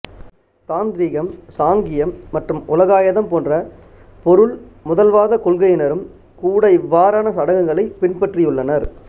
தாந்திரிகம் சாங்கியம் மற்றும் உலகாயதம் போன்ற பொருள்முதல்வாத கொள்கையினரும் கூட இவ்வாறான சடங்குகளைப் பின்பற்றியுள்ளனர்